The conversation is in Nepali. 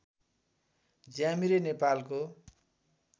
ज्यामिरे नेपालको